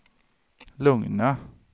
lugna